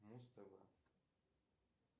муз тв